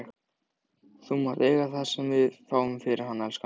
Þú mátt eiga það sem við fáum fyrir hann, elskan.